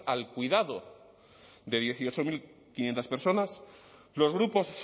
al cuidado de dieciocho mil quinientos personas los grupos